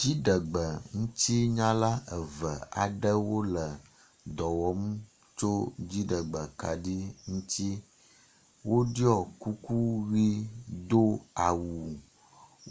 Dziɖgbeŋutinyala eve aɖewo le dɔwɔm tso dziɖegbekaɖi ŋutsi. Woɖɔ kuku ʋi do awu.